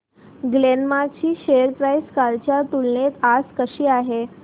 Glenmark ची share price कालच्या तुलनेत आज कशी आहे